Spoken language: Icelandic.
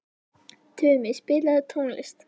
Tumi, spilaðu tónlist.